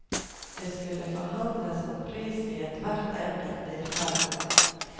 Det skulle forhandles om pris i hvert enkelt tilfelle.